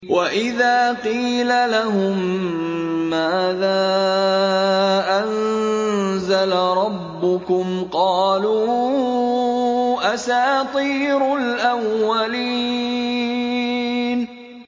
وَإِذَا قِيلَ لَهُم مَّاذَا أَنزَلَ رَبُّكُمْ ۙ قَالُوا أَسَاطِيرُ الْأَوَّلِينَ